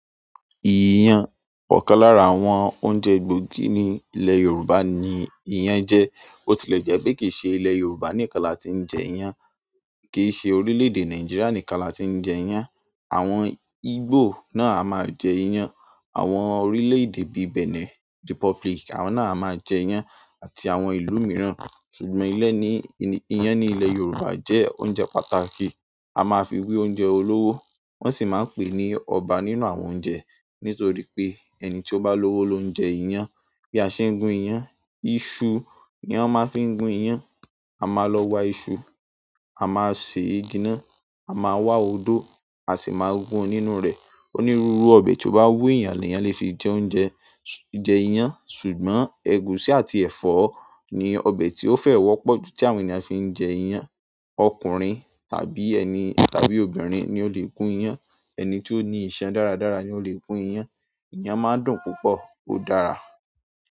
Iyán, ọ̀kan lára àwọn oúnjẹ gbòógì ní ilẹ̀ Yorùbá ni iyán jẹ́. Ó ti lè jẹ́ pé kì ṣe ilẹ̀ Yorùbá nìkan la ti ń jẹ iyán, kí ṣe orílẹ̀èdè Nàìjíríà nìkan la ti ń jẹ iyán. Àwọn Igbo náà a máa jẹ iyán. Àwọn orílẹ̀ èdè bíi Benin Republic àwọn náà a máa jẹ iyán àti àwọn ìlú mìíràn. Ṣùgbọ́n ilẹ̀ ni, iyán ní ilẹ̀ Yorùbá jẹ́ oúnjẹ pàtàkì. A máa fi wé oúnjẹ olowo. Wọ́n sì máa ń pè ní ọba nínú àwọn oúnjẹ nítorí pé ẹni tí ó bá lówó ló ń je iyán. Bí a ṣe ń gún iyán, iṣu ni wọ́n máa ń fi gún iyán. A máa lọ wa iṣu, a máa sèé jíná, a máa wá odó, a sì máa gún nínú rẹ̀. Onírurú ọbẹ̀ tí ó bá wú eyàn ni èèyàn lè fi jẹ oúnjẹ, jẹ iyán. Ṣùgbọ́n ẹ̀gúsí àti ẹ̀fọ́ ni ọbẹ̀ tí ó fẹ́ wọ́pọ̀ jù tí àwọn ènìyàn fi ń jẹ iyan. Ọkùnrin tàbí ẹni tàbí obìnrin ni ó lè gún iysn. Ẹni tí ó ní ìsan dáradára ni ó lè gún iyan. Iyán máa dùn púpọ̀ ó dára.